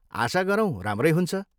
आशा गरौँ राम्रै हुन्छ।